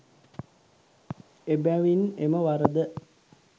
එබැවින් එම වරද